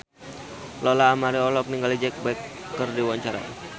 Lola Amaria olohok ningali Jack Black keur diwawancara